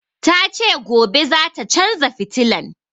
Ta ce gobe zata canza fitilan